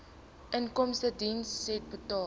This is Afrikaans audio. inkomstediens said inbetaal